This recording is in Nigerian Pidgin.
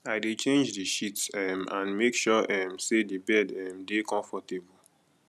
i dey change di sheets um and make sure um say di bed um dey comfortable